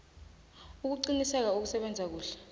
ukuqinisa ukusebenza kuhle